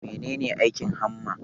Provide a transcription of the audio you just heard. Mene ne aikin hamma?